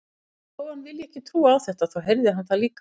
Þó að hann vilji ekki trúa á þetta, þá heyrði hann það líka.